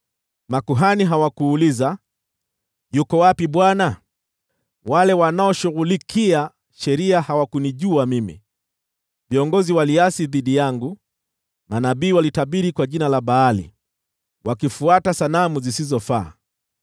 Makuhani hawakuuliza, ‘Yuko wapi Bwana ?’ Wale wanaoshughulikia sheria hawakunijua mimi; viongozi waliasi dhidi yangu. Manabii walitabiri kwa jina la Baali, wakifuata sanamu zisizofaa.